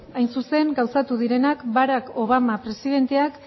hain zuzen gauzatu direnak barack obama presidenteak